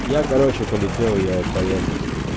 я короче полетела я поехал